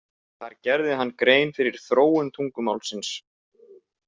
Þar gerði hann grein fyrir þróun tungumálsins.